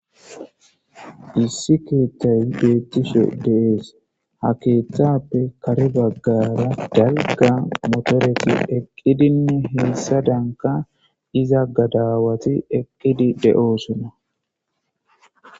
issi keeththay beettishe deees ha keeththappe kare baggara dagga motoreti eqqidinne helsa danka iza gadawati eqqidi de7oosona